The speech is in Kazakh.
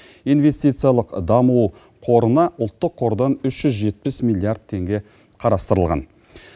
инвестициялық даму қорына ұлттық қордан үш жүз жетпіс миллиард теңге қарастырылған